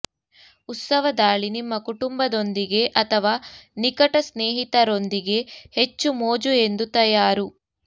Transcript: ಉತ್ಸವ ದಾಳಿ ನಿಮ್ಮ ಕುಟುಂಬದೊಂದಿಗೆ ಅಥವಾ ನಿಕಟ ಸ್ನೇಹಿತರೊಂದಿಗೆ ಹೆಚ್ಚು ಮೋಜು ಎಂದು ತಯಾರು